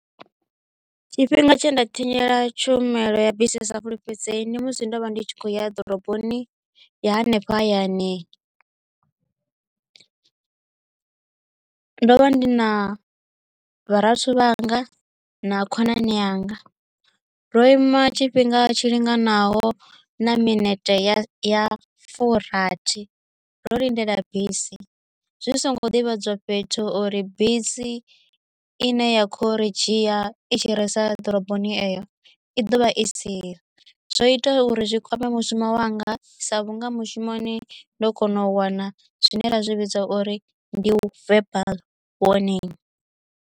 Tshifhinga tshe nda thanyela tshumelo ya bisi i sa fulufhedzei ndi musi ndo vha ndi tshi kho ya ḓoroboni ya hanefha hayani ndo vha ndi na vharathu vhanga na khonani yanga ndo ima tshifhinga tshi linganaho na minete ya ya fumirathi ndo lindela bisi zwi songo divhadzwa fhethu uri bisi i ne ya khou ri dzhia i tshi risa ḓoroboni eyo i ḓovha i siho zwo ita uri zwi kwame mushumo wanga sa vhunga mushumoni ndo kona u wana zwine ra zwi vhidza uri ndi verbal warning.